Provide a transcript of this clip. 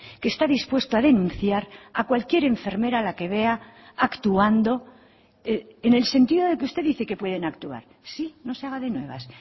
que está dispuesto a denunciar a cualquier enfermera a la que vea actuando en el sentido de que usted dice que pueden actuar sí no se haga de nuevas